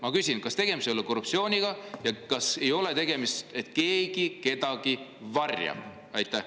Ma küsin: kas tegemist ei ole korruptsiooniga ja sellega, et keegi midagi varjab?